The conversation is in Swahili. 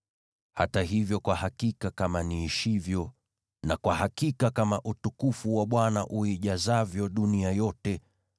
Hata hivyo, kwa hakika kama niishivyo, na kwa hakika kama utukufu wa Bwana uijazavyo dunia yote,